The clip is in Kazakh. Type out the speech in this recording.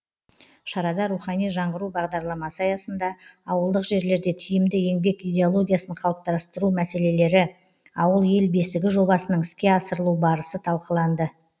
шарада рухани жаңғыру бағдарламасы аясында ауылдық жерлерде тиімді еңбек идеологиясын қалыптастыру мәселелері ауыл ел бесігі жобасының іске асырылу барысы талқыланды